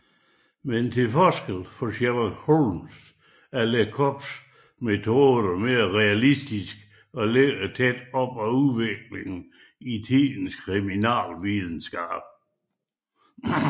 Men til forskel fra Sherlock Holmes er Lecoqs metoder mere realistiske og ligger tæt op ad udviklingen i tidens kriminalvidenskab